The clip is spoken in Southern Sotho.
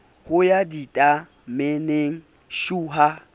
ho ya ditameneng shu ha